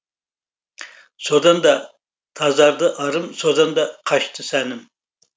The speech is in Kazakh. содан да тазарды арым содан да қашты сәнім